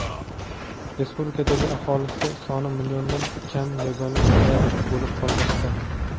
respublikadagi aholisi soni milliondan kam yagona viloyat bo‘lib qolmoqda.